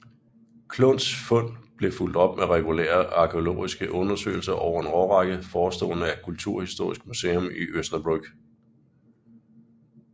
Clunns fund blev fulgt op med regulære arkæologiske undersøgelser over en årrække foreståede af Kulturhistorisk museum i Osnabrück